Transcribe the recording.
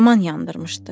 Yaman yandırmışdı.